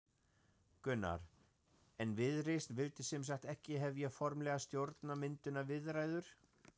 Gunnar: En Viðreisn vildi sem sagt ekki hefja formlegar stjórnarmyndunarviðræður?